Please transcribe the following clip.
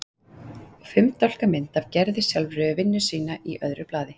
Og fimm dálka mynd af Gerði sjálfri við vinnu sína í öðru blaði.